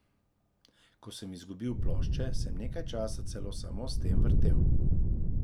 Ko sem izgubil plošče, sem nekaj časa celo samo s tem vrtel.